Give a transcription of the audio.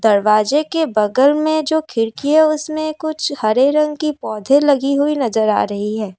दरवाजे के बगल में जो खिड़की है उसमें कुछ हरे रंग की पौधे लगी हुई नजर आ रही है।